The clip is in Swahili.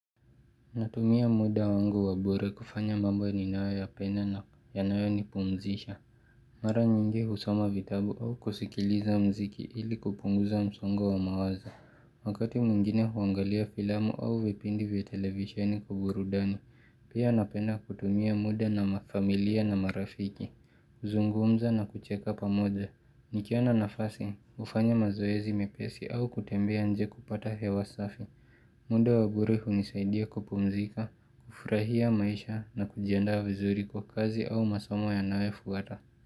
Natumia muda wangu wa bure kufanya mambo ninayoyapenda na yanayo ni pumzisha Mara nyingi husoma vitabu au kusikiliza mziki ili kupunguza msongo wa mawazo Wakati mwingine huangalia filamu au vipindi vya televisheni kuburudani Pia napenda kutumia muda na ma familia na marafiki huzungumza na kucheka pamoja Nikiona nafasi hufanya mazoezi mepesi au kutembea nje kupata hewa safi muundo wa bure hunisaidia kupumzika, kufurahia maisha na kujiandaa vizuri kwa kazi au masomo yanayofuata.